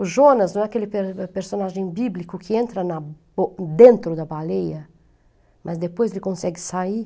O Jonas não é aquele per personagem bíblico que entra na bo dentro da baleia, mas depois ele consegue sair.